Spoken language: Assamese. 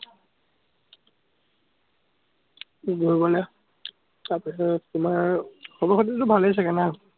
তাৰ পিছত তোমাৰ খবৰ-খাতিতো ভালেই চাগে ?